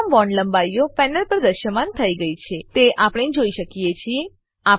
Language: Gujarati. તમામ બોન્ડ લંબાઈઓ પેનલ પર દ્રશ્યમાન થઇ ગયી છે તે આપણે જોઈ શકીએ છીએ